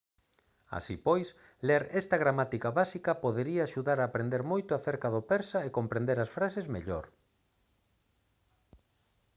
así pois ler esta gramática básica podería axudar a aprender moito acerca do persa e comprender as frases mellor